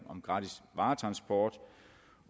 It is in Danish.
om gratis varetransport